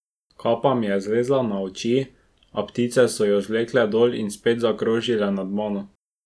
Kapa mi je zlezla na oči, a ptice so jo zvlekle dol in spet zakrožile nad mano.